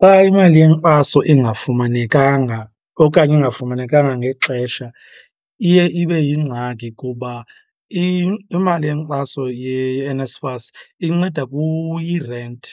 Xa imali yenkxaso ingafumanekanga okanye ingafumanekanga ngexesha iye ibe yingxaki kuba imali yenkxaso yeNSFAS inceda irenti